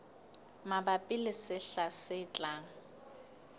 mabapi le sehla se tlang